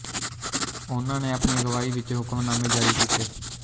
ਓਹਨਾ ਨੇ ਆਪਣੀ ਅਗਵਾਈ ਵਿੱਚ ਹੁਕਮਨਾਮੇ ਜਾਰੀ ਕੀਤੇ